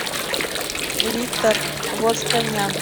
виктор восканян